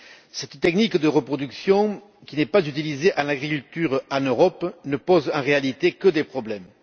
Cette technique de reproduction, qui n'est pas utilisée dans l'agriculture en Europe, ne pose en réalité que des problèmes.